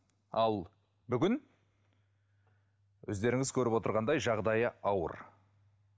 ал бүгін өздеріңіз көріп отырғандай жағдайы ауыр